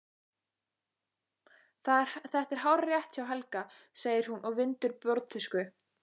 Þetta er hárrétt hjá Helga, segir hún og vindur borðtusku.